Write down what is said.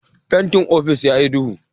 Fentin ofis ya yi duhu